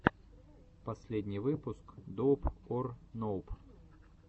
последний выпуск доуп ор ноуп